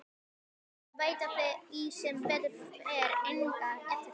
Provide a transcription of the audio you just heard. Þau hin veita því sem betur fer enga eftirtekt.